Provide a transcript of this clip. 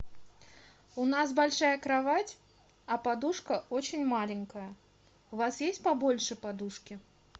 у нас большая кровать а подушка очень маленькая у вас есть побольше подушки